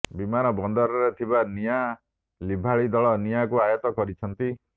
ବିମାନବନ୍ଦରରେ ଥିବା ନିଆଁ ଲିଭାଳି ଦଳ ନିଆଁକୁ ଆୟତ୍ତ କରିଛନ୍ତି